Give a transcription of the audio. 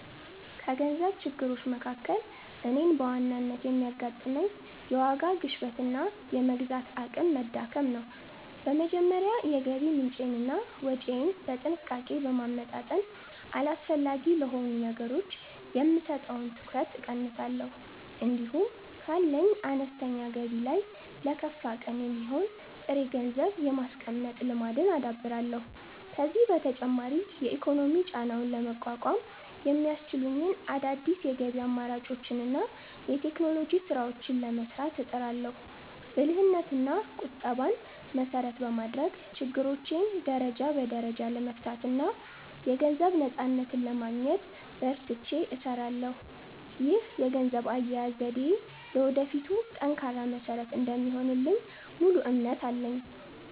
ከገንዘብ ችግሮች መካከል እኔን በዋናነት የሚያጋጥመኝ፣ የዋጋ ግሽበትና የመግዛት አቅም መዳከም ነው። በመጀመሪያ የገቢ ምንጬንና ወጪዬን በጥንቃቄ በማመጣጠን፣ አላስፈላጊ ለሆኑ ነገሮች የምሰጠውን ትኩረት እቀንሳለሁ። እንዲሁም ካለኝ አነስተኛ ገቢ ላይ ለከፋ ቀን የሚሆን ጥሬ ገንዘብ የማስቀመጥ ልማድን አዳብራለሁ። ከዚህም በተጨማሪ የኢኮኖሚ ጫናውን ለመቋቋም የሚያስችሉኝን አዳዲስ የገቢ አማራጮችንና የቴክኖሎጂ ስራዎችን ለመስራት እጥራለሁ። ብልህነትና ቁጠባን መሰረት በማድረግ፣ ችግሮቼን ደረጃ በደረጃ ለመፍታትና የገንዘብ ነፃነትን ለማግኘት በርትቼ እሰራለሁ። ይህ የገንዘብ አያያዝ ዘዴዬ ለወደፊቱ ጠንካራ መሰረት እንደሚሆንልኝ ሙሉ እምነት አለኝ።